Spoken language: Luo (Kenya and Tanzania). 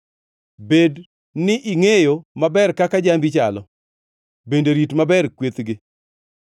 Bed ni ingʼeyo maber kaka jambi chalo; bende rit maber kwethgi;